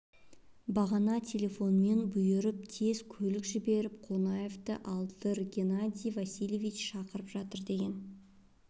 бағана телефонмен бұйырып тез көлік жіберіп қонаевты алдыр геннадий васильевич шақырып жатыр деген